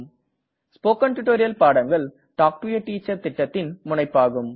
spoken tutorial பாடங்கள் talk to a teacher திட்டத்தின் முனைப்பாகும்